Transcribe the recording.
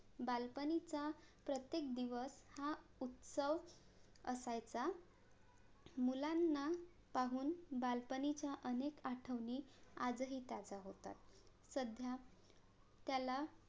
बालपणीचा प्रत्येक दिवस हा उत्सव असायचा मुलांना पाहून बालपणीच्या अनेक आठवणी आजही ताज्या होतात सध्या त्याला